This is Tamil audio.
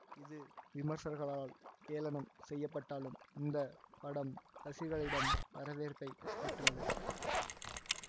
இது விமர்சகர்களால் ஏளனம் செய்யப்பட்டாலும் இந்த படம் ரசிகர்களிடம் வரவேற்பை பெற்றது